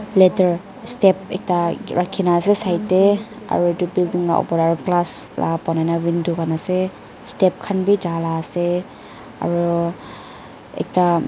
ladder step ekta rakhina ase side tae aru edu building la opor tae aro glass la banai na window ase kanase step khan bi jalaase aro ekta.